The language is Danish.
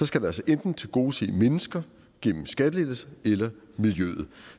skal det altså enten tilgodese mennesker gennem en skattelettelse eller miljøet